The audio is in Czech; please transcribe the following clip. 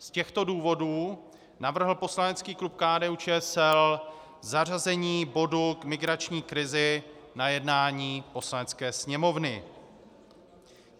Z těchto důvodů navrhl poslanecký klub KDU-ČSL zařazení bodu k migrační krizi na jednání Poslanecké sněmovny.